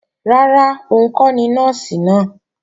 Rárá, òun kọ́ ni Nọ́ọ̀sì náà